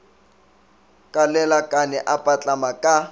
ka lelakane a patlama ka